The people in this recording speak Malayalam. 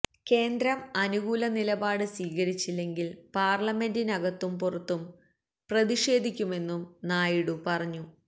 കേന്ദ്രം അനുകൂല നിലപാട് സ്വീകരിച്ചില്ലെങ്കില് പാര്ലമെന്റിനകത്തും പുറത്തും പ്രതിഷേധിക്കുമെന്നും നായിഡു പറഞ്ഞു